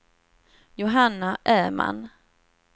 Johanna Öhman